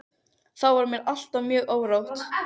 Þá var mér alltaf mjög órótt.